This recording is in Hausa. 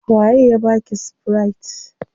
Wa ye ya baki spirit?